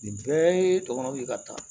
Nin bɛɛ ye tɔmɔnɔ ye ka taa